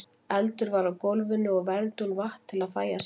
Eldur var á gólfinu og vermdi hún vatn til að fægja sárin.